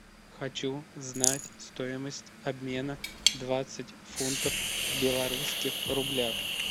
хочу знать стоимость обмена двадцать фунтов в белорусских рублях